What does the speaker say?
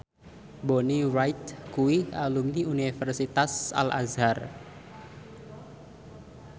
Bonnie Wright kuwi alumni Universitas Al Azhar